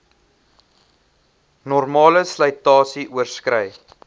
normale slytasie oorskrei